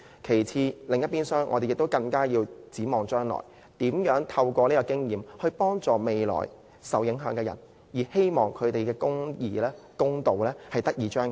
與此同時，我們亦要展望將來，如何透過這次經驗幫助未來受影響的人，希望公義得以彰顯。